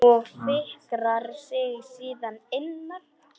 Og fikrar sig síðan innar?